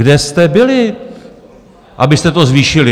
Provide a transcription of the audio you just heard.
Kde jste byli, abyste to zvýšili?!